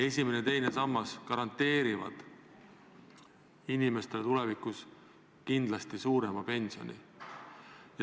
Esimene ja teine sammas garanteerivad inimestele tulevikus kindlasti suurema pensioni.